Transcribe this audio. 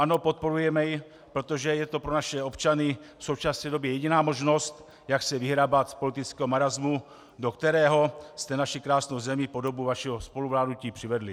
Ano, podporujeme jej, protože je to pro naše občany v současné době jediná možnost, jak se vyhrabat z politického marasmu, do kterého jste naši krásnou zemi po dobu vašeho spoluvládnutí přivedli.